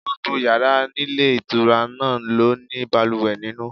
Gbogbo yàrá nílé ìtura náà ló ní balùwẹ̀ nínú.